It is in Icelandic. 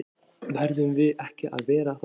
Verðum við ekki að vera það?